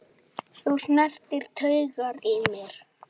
Þú snertir taugar í mér.